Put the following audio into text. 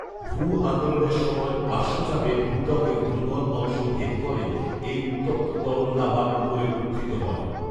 ভূআন্দোলনের সময় পার্শ্বচাপে ভূত্বকের দুর্বল অংশ ভেদ করে এই উত্তপ্ত তরল লাভা উপরে উত্থিত হয়